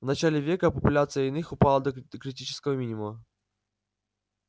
в начале века популяция иных упала до критического минимума